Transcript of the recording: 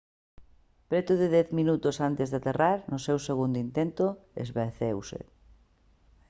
preto de dez minutos antes de aterrar no seu segundo intento esvaeceuse